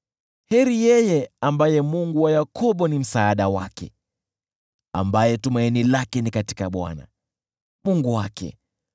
Heri yeye ambaye Mungu wa Yakobo ni msaada wake, ambaye tumaini lake ni katika Bwana , Mungu wake,